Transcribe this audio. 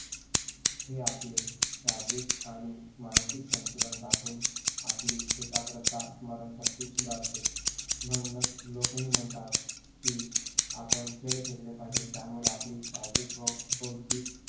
हे आपले शारीरिक आणि मानसिक संतुलन राखून आपली एकाग्रता स्मरणशक्ती सुधारते, म्हणूनच लोक ही म्हणतात की आपण खेळ खेळले पाहिजे त्यामुळे आपली शारीरिक व बौद्धिक